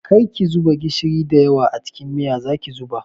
Kar ki zuba gishiri da yawa a cikin miya, zaki zuba?